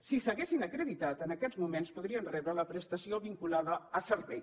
si s’haguessin acreditat en aquests moments podrien rebre la prestació vinculada a servei